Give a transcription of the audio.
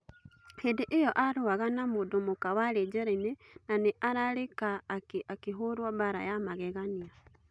Hĩ ndĩ ĩ yo arũaga na mũndû mũka warĩ njerainĩ na nĩ ararĩ rĩ ka akĩ hũrũo mbara ya magegania.